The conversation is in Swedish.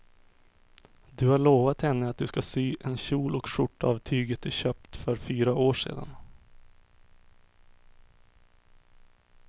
Du har lovat henne att du ska sy en kjol och skjorta av tyget du köpte för fyra år sedan.